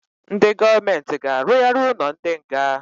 Ndị gọọment g'arugharị ụnọ ndị nga.